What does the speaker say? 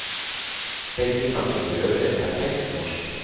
Begge snakker forøvrig et perfekt norsk.